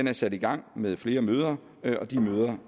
er sat i gang med flere møder og de møder